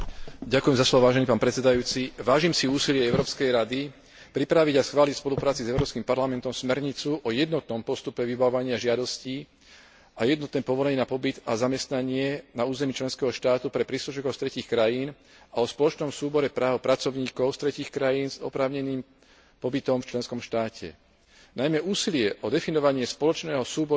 Vážim si úsilie Európskej rady pripraviť a schváliť v spolupráci s Európskym parlamentom smernicu o jednotnom postupe vybavovania žiadostí a jednotné povolenie na pobyt a zamestnanie na území členského štátu pre príslušníkov z tretích krajín a o spoločnom súbore práv pracovníkov z tretích krajín s oprávneným pobytom v členskom štáte. Najmä úsilie o definovanie spoločného súboru práv pracovníkov z tretích krajín